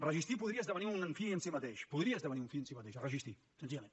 resistir podria esdevenir un fi en si mateix podria esdevenir un fi en si mateix resistir senzillament